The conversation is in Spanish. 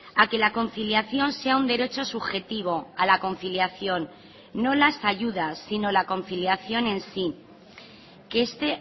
a que la conciliación sea un derecho subjetivo a la conciliación no las ayudas sino la conciliación en sí que esté